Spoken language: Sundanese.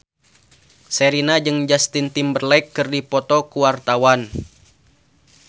Sherina jeung Justin Timberlake keur dipoto ku wartawan